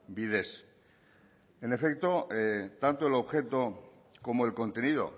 bidez en efecto tanto el objeto como el contenido